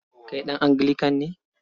Kai ɗan Anglican ne?